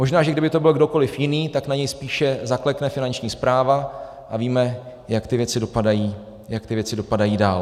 Možná že kdyby to byl kdokoliv jiný, tak na něj spíše zaklekne Finanční správa, a víme, jak ty věci dopadají, jak ty věci dopadají dál.